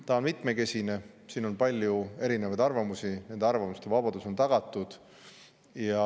See on mitmekesine, siin on palju erinevaid arvamusi ja arvamuste vabadus on tagatud.